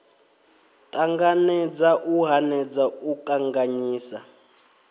ṱanganedza u hanedza u kanganyisa